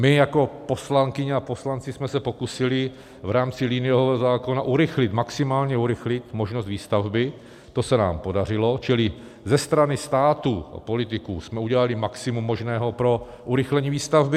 My jako poslankyně a poslanci jsme se pokusili v rámci liniového zákona urychlit, maximálně urychlit možnost výstavby, to se nám podařilo, čili ze strany státu a politiků jsme udělali maximum možného pro urychlení výstavby.